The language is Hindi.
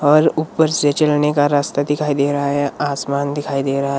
और ऊपर से चलने का रास्ता दिखाई दे रहा है आसमान दिखाई दे रहा है ।